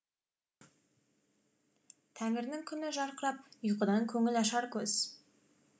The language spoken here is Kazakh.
тәңірінің күні жарқырап ұйқыдан көңіл ашар көз